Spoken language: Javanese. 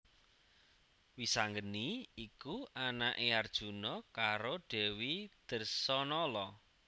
Wisanggeni iku anaké Arjuna karo Dèwi Dresanala